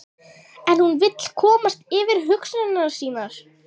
En hún vill komast yfir hugsanir sínar.